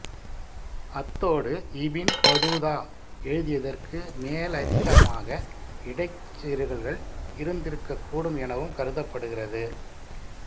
அத்தோடு Ibn Battuta எழுதியதற்கு மேலதிகமாக இடைச் செருகல்கள் இருந்திருக்கக்கூடும் எனவும் கருதப்படுகிறது